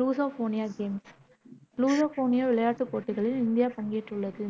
Lusofonia games Lusofonia விளையாட்டுப் போட்டியில் India பங்கேற்றுள்ளது.